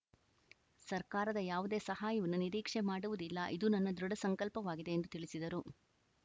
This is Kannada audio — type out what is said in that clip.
ಸರ್ಕಾರದ ಯಾವುದೇ ಸಹಾಯನ್ನು ನಿರೀಕ್ಷೆ ಮಾಡುವುದಿಲ್ಲ ಇದು ನನ್ನ ದೃಢ ಸಂಕಲ್ಪವಾಗಿದೆ ಎಂಧು ತಿಳಿಸಿದರು